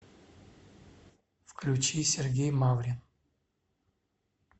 включить сергей маврин